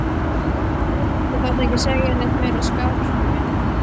Þú þarft ekki að segja neitt meira, Skarpi minn!